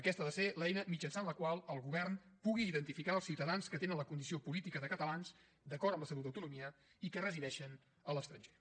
aquesta ha de ser l’eina mitjançant la qual el govern pugui identificar els ciutadans que tenen la condició política de catalans d’acord amb l’estatut d’autonomia i que resideixen a l’estranger